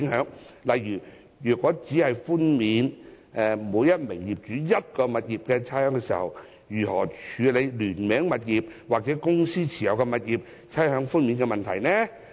舉例而言，如每位業主只獲寬免一項物業的差餉，聯名物業及公司持有物業的問題該如何處理？